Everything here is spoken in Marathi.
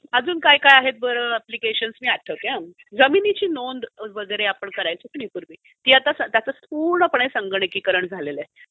अजून काय काय आहेत बरं अप्प्लीकेशन्स? मी आठवते हा. जमिनीची नोंद वगैरे आपण करायचो की नाही पूर्वी त्याचं आता पुर्णपणे संगंणकीकरण झालेलं आहे